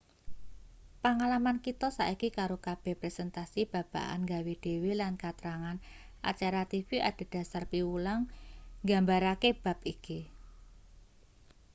pangalaman kita saiki karo kabeh presentasi babagan nggawe-dhewe lan katrangan acara tv adhedhasar piwulang nggambarake bab iki